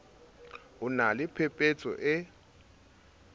o na le phepetso e